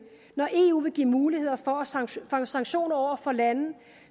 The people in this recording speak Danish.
når eu vil give mulighed for sanktioner sanktioner over for lande